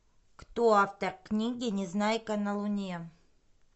кто автор книги незнайка на луне